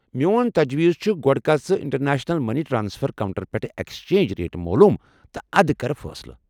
میون تجویز چھُ گۄڑٕ كر ژٕ انٹرنیشنل مٔنی ٹرٛانسفر کونٛٹر پٮ۪ٹھٕہ ایكسچینج ریٹ مولوم تہٕ ادٕ کر فٲصلہٕ۔